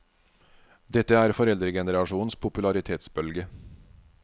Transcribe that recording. Dette er foreldregenerasjonens popularitetsbølge.